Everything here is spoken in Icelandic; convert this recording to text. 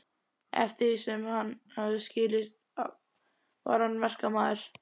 Eftir því sem mér hafði skilist var hann verkamaður.